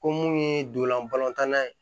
Ko mun ye donlan balɔntan ye